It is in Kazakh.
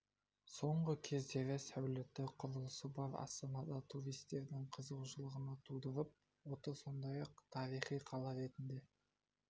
соңғы кездері сәулетті құрылысы бар астана да туристердің қызығушылығын тудырып отыр сондай-ақ тарихи қала ретінде